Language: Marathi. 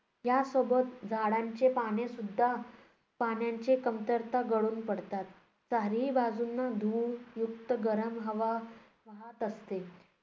या सोबतच झाडांचे पानेसुद्धा पाण्याच्या कमतरतेने गळून पडतात. चारही बाजूंना धूळयुक्त गरम हवा वाहत असते,